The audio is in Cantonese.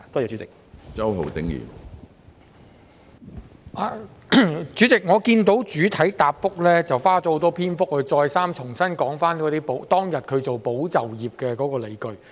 主席，我看到局長在主體答覆花了很多篇幅再三重申政府推出保就業的理據。